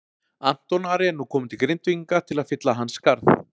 Anton Ari er nú kominn til Grindvíkinga til að fylla hans skarð.